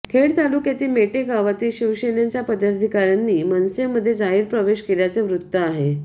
खेड तालुक्यातील मेटे गावातील शिवसेनेच्या पदाधिकाऱ्यांनी मनसेमध्ये जाहीर प्रवेश केल्याचे वृत्त आहे